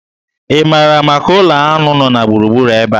Ị maara maka ụlọ aṅụ nọ na gburugburu ebe a?